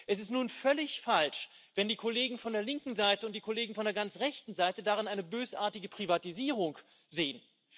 Es ist nun völlig falsch, wenn die Kollegen von der linken Seite und die Kollegen von der ganz rechten Seite darin eine bösartige Privatisierung sehen.